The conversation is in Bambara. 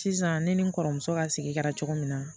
Sisan ne ni n kɔrɔmuso ka sigida la cogo min na